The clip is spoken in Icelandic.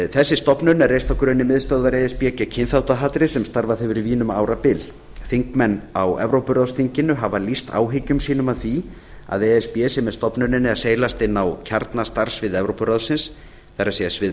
þessi stofnun er reist á grunni miðstöðvar e s b gegn kynþáttahatri sem starfað hefur í vín um árabil þingmenn á evrópuráðsþinginu hafa lýst áhyggjum sínum af því að e s b sé með stofnuninni að seilast inn á kjarnastarfssvið evrópuráðsins það er svið